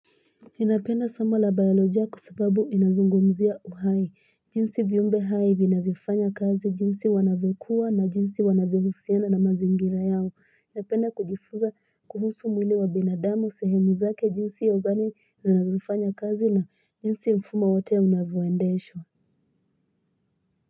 Enapena sama la biyaloja kusibabu inazungomuzia uhai. Jinsi viumbe haibi na zifanya kazi, jinsi wanabukua na jinsi wanabukusiena na mazingira yao. Enapena kujifuza kuhusu mwilewa binadamo sehemuza ke jinsi yauzani na zifanya kazi na jinsi umfuma watia una voendesho.